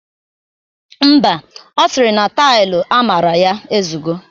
Mba, ọ siri na tailu amara ya ezugo.